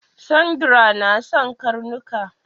Sandra na son karnuka